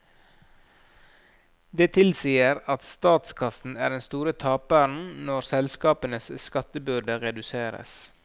Det tilsier at statskassen er den store taperen når selskapenes skattebyrde reduseres.